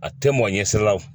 A tɛ mɔn ɲɛsira la